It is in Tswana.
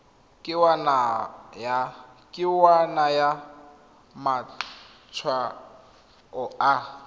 ke wa naya matshwao a